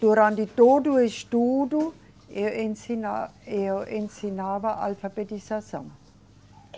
Durante todo o estudo, eu ensina, eu ensinava alfabetização.